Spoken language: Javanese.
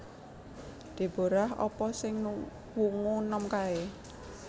Deborah apa sing wungu nom kae?